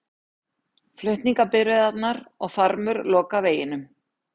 Flutningabifreiðarnar og farmur loka veginum